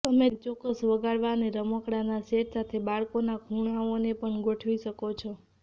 તમે ચોક્કસ વગાડવા અને રમકડાંનાં સેટ સાથે બાળકોના ખૂણાઓને પણ ગોઠવી શકો છો